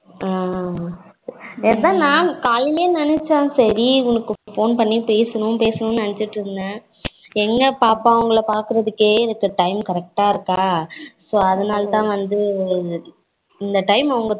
ஹம் என்ன நா காலைலே நினச்சேன் சரி இவளுக்கு phone பண்ணி பேசனும் பேசணும் நினசிட்டு இருந்தேன் எங்க பாப்பா இவங்கள பாக்குறதுக்கே எனக்ககு time correct இருக்கா so அதனால தான் வந்து இந்த time அவங்களுக்கு